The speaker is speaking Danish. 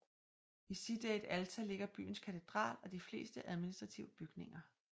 I Cidade Alta ligger byens katedral og de fleste administrative bygninger